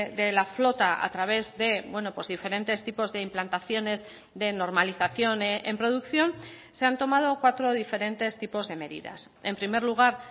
de la flota a través de diferentes tipos de implantaciones de normalización en producción se han tomado cuatro diferentes tipos de medidas en primer lugar